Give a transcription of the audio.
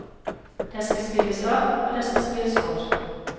Der skal spilles, og der skal spilles godt.